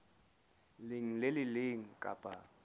leng le le leng kapa